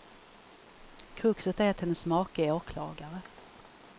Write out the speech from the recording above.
Kruxet är att hennes make är åklagare.